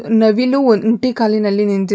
ನವಿಲು ಒಂಟಿ ಕಾಲಿನಲ್ಲಿ ನಿಂತಿದೆ .